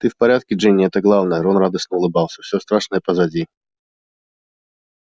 ты в порядке джинни это главное рон радостно улыбался всё страшное позади